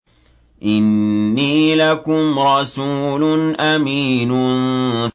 إِنِّي لَكُمْ رَسُولٌ أَمِينٌ